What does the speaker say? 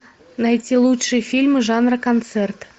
найти лучшие фильмы жанра концерт